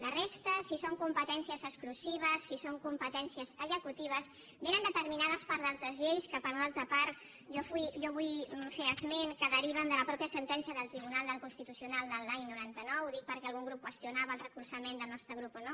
la resta si són competències exclusives si són competències executives ve determinat per d’altres lleis que per una altra part jo vull fer esment que deriven de la mateixa sentència del tribunal constitucional de l’any noranta nou ho dic perquè algun grup qüestionava el recolzament del nostre grup o no